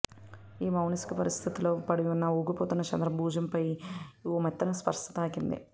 ఈ మానసిక పరిస్థితిలో పడి ఊగిపోతున్న చంద్రం భుజంపై ఓ మెత్తని స్పర్శ తాకింది